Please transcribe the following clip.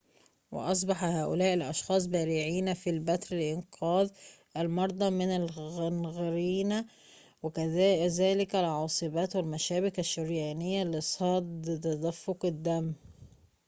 وأصبح هؤلاء الأشخاص بارعين في البتر لإنقاذ المرضى من الغنغرينا وكذلك العاصبات والمشابك الشريانية لصد تدفق الدم